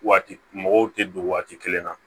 Waati mɔgɔw tɛ don waati kelen na